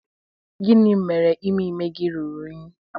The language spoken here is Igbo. gini mere ime ime gi ruru unyi?